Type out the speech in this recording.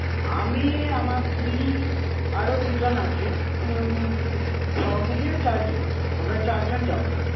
আমি আমার স্ত্রী আরো দুজন আছে উম সব মিলিয়ে চারজন. আমরা চারজন যাবো.